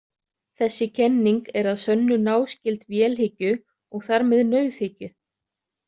Þessi kenning er að sönnu náskyld vélhyggju og þar með nauðhyggju.